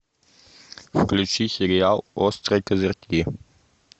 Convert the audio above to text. включи сериал острые козырьки